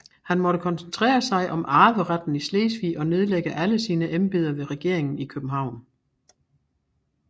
Han måtte koncentrere sig om arveretten i Slesvig og nedlægge alle sine embeder ved regeringen i København